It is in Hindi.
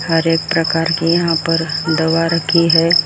हर एक प्रकार की यहां पर दवा रखी है।